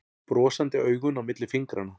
Brosandi augun á milli fingranna.